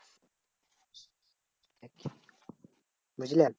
বুঝলে?